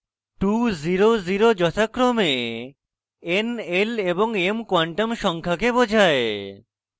2 0 0 যথাক্রমে n l এবং m quantum সংখ্যাকে বোঝায়